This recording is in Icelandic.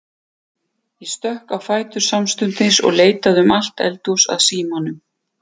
Ég stökk á fætur samstundis og leitaði um allt eldhús að símanum.